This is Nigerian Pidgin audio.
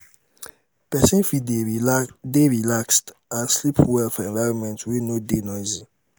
persin fit de relaxed and sleep well for environment wey no de noisy